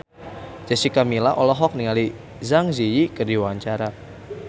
Jessica Milla olohok ningali Zang Zi Yi keur diwawancara